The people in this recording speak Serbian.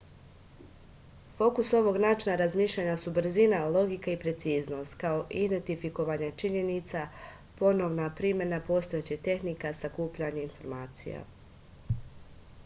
fokus ovog načina razmišljanja su brzina logika i preciznost kao i identifikovanje činjenica ponovna primena postojećih tehnika sakupljanje informacija